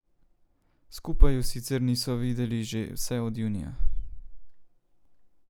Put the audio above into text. Skupaj ju sicer niso videli že vse od junija.